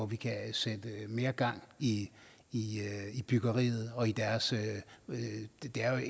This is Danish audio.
vi kan sætte mere gang i i byggeriet det er